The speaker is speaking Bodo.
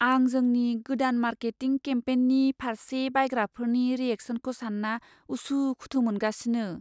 आं जोंनि गोदान मार्केटिं केम्पेननि फारसे बायग्राफोरनि रियेकसनखौ सान्ना उसुखुथु मोनगासिनो।